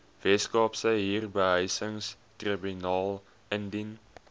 weskaapse huurbehuisingstribunaal indien